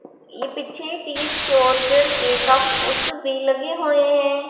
ये पीछे टीथ जॉर्जर के काफी पोस्टर्स भी लगे हुए हैं।